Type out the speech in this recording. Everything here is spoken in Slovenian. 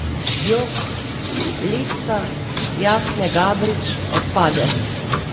Jok, lista Jasne Gabrič odpade.